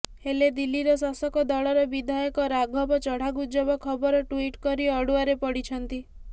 ହେଲେ ଦିଲ୍ଲୀର ଶାସକ ଦଳର ବିଧାୟକ ରାଘବ ଚଢ଼ା ଗୁଜବ ଖବର ଟୁଇଟ୍ କରି ଅଡ଼ୁଆରେ ପଡ଼ିଛନ୍ତି